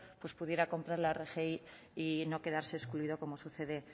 pues pudiera comprar la rgi y no quedarse excluido como sucede